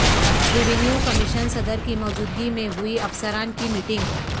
revenue commission صدر کی موجودگی میں ہوئی افسران کی میٹنگ